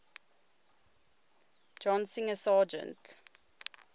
john singer sargent